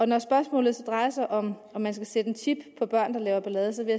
når spørgsmålet så drejer sig om om man skal sætte en chip på børn der laver ballade så vil